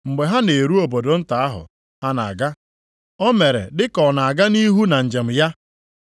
Mgbe ha na-eru obodo nta ahụ ha na-aga, o mere dị ka ọ na-aga nʼihu na njem ya.